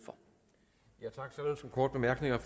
være mere